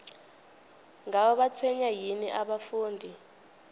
ngabe batshwenywa yini abafundi